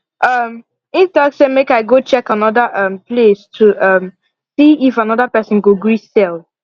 um he talk say make i go check another um place to um see if another person go gree sell